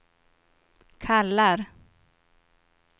kallar